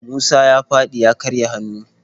Musa ya faɗi ya karya hannu.